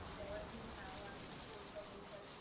जेव्हा ती नाव आम्ही बोलता बोलता ती